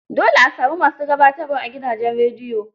Dole a sami ma su gabatarwa a gidajen rediyo.